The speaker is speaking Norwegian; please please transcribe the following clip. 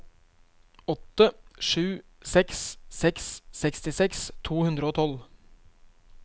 åtte sju seks seks sekstiseks to hundre og tolv